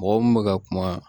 Mɔgɔ mun bɛ ka kuma